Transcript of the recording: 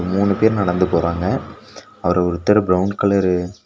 மூணு பேர் நடந்து போறாங்க அவரு ஒருத்தரு பிரவுன் கலர் .